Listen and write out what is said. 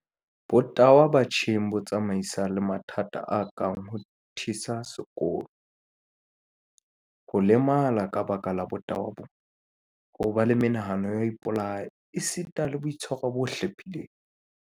Botahwa batjheng bo tsamaisana le mathata a kang ho thisa sekolong, ho lemala ka lebaka la botahwa bona, ho ba le menahano ya ho ipolaya esitana le boitshwaro bo hlephileng.